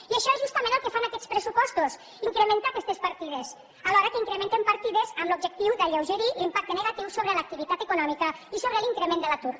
i això és justament el que fan aquests pressupostos incrementar aquestes partides alhora que incrementen partides amb l’objectiu d’alleugerir l’impacte negatiu sobre l’activitat econòmica i sobre l’increment de l’atur